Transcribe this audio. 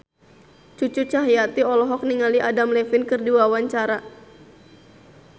Cucu Cahyati olohok ningali Adam Levine keur diwawancara